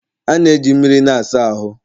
a na-eji mmiri na-asa ahụ